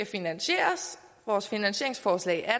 finansieres vores finansieringsforslag er